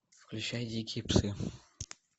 включай дикие псы